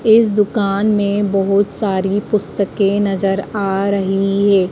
इस दुकान में बहोत सारी पुस्तकें नजर आ रही हैं।